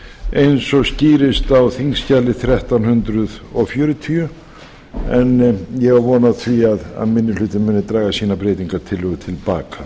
eins og skýrist á þingskjali þrettán hundruð fjörutíu en ég á von á því að minni hlutinn muni draga sína breytingartillögu til baka